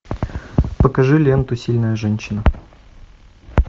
покажи ленту сильная женщина